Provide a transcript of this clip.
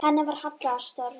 Henni var hallað að stöfum.